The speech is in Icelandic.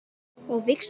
Og víxla?